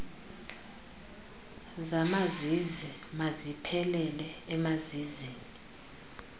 zamazizi maziphelele emazizini